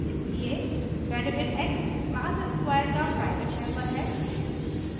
इसलिए variable x class square का private member है